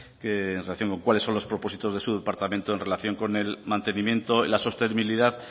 que en relación con cuáles son los propósitos de su departamento en relación con el mantenimiento y la sostenibilidad